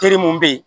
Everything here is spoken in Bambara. Teri mun be yen